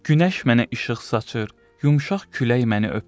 Günəş mənə işıq saçır, yumşaq külək məni öpür.